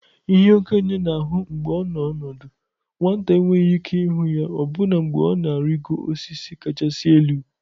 ihe okenye na-ahụ mgbe ọ nọ ọdụ, nwata enweghị ike ịhụ ya ọbụna mgbe ọ na-arịgoro osisi kachasị elu.